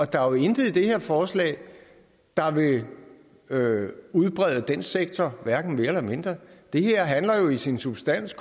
der er jo intet i det her forslag der vil udbrede den sektor det her handler jo i sin substans